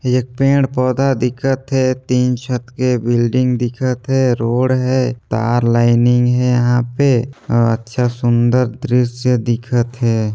ये एक पेड़-पोधा दिखत हे तीन छत के बिल्डिंग दिखत हे रोड हे तार लाइनिंग हे यहाँ पे और अच्छा सुंदर दृश्य दिखत हे।